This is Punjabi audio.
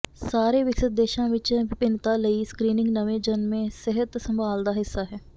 ਸਾਰੇ ਵਿਕਸਤ ਦੇਸ਼ਾਂ ਵਿਚ ਵਿਭਿੰਨਤਾ ਲਈ ਸਕ੍ਰੀਨਿੰਗ ਨਵੇਂ ਜਨਮੇ ਸਿਹਤ ਸੰਭਾਲ ਦਾ ਹਿੱਸਾ ਹੈ